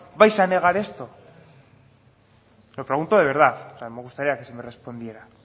vais a negar esto lo pregunto de verdad o sea me gustaría que se me respondiera